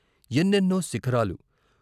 ఎన్నెన్నో శిఖరాలు.